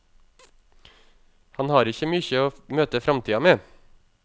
Han har ikkje mykje å møte framtida med.